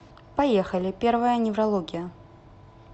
поехали первая неврология